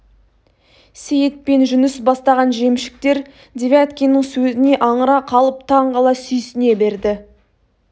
сейіт пен жүніс бастаған жемшіктер девяткиннің сөзіне аңыра қалып таң қала сүйсіне берді